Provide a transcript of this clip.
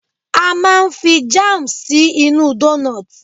A máa n fi jam sí inú doughnuts